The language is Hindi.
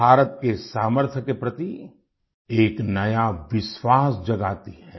भारत के सामर्थ्य के प्रति एक नया विश्वास जगाती है